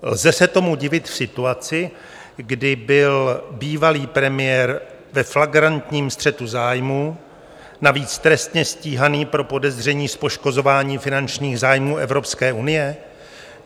Lze se tomu divit v situaci, kdy byl bývalý premiér ve flagrantním střetu zájmů, navíc trestně stíhaný pro podezření z poškozování finančních zájmů Evropské unie?